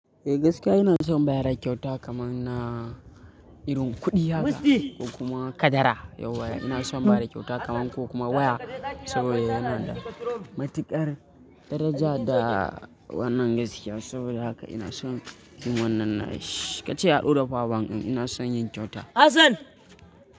Eh gaskiya ina son bada kyauta kaman na irin kuɗi haka ko kuma kadara. Yauwa ina son bada kyauta kaman ko kuma waya saboda yana da matuƙar daraja da wannan gaskiya. Saboda haka ina son yin wannan naishi. Ka ce yaɗo da power bank ɗin ina son yin kyauta.